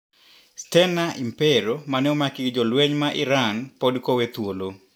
Stena Impero mane omaki gi jolweny ma iran podi kowee thuolo.